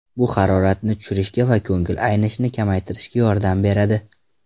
Bu haroratni tushirishga va ko‘ngil aynishini kamaytirishga yordam beradi.